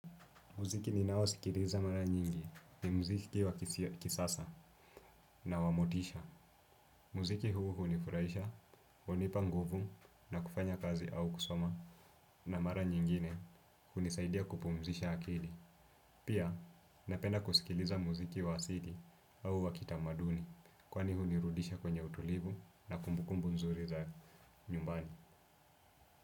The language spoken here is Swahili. Muziki ninao sikiliza mara nyingi ni mziki wa kisasa na wa motisha. Muziki huu hunifuraisha, hunipa nguvu na kufanya kazi au kusoma na mara nyingine hunisaidia kupumzisha akili. Pia napenda kusikiliza muziki wa asili au wa kitamaduni kwani hunirudisha kwenye utulivu na kumbukumbu nzuri za nyumbani.